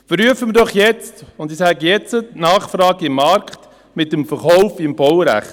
Prüfen wir doch jetzt – ich sage «jetzt» – die Nachfrage im Markt mit dem Verkauf im Baurecht.